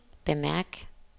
bemærk